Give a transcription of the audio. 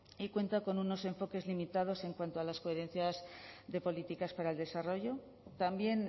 y cuenta con unos enfoques limitados en cuanto a las coherencias de políticas para el desarrollo también